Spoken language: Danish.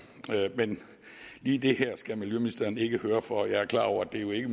men lige det her skal miljøministeren ikke høre for for jeg er klar over at det jo ikke